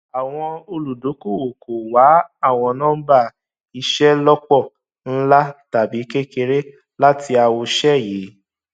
àwọn olùdókòwò kò wá àwọn nọmbà ìṣelọpọ ńlá tàbí kékeré láti àwòṣe yìí